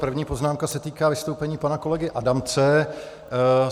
První poznámka se týká vystoupení pana kolegy Adamce.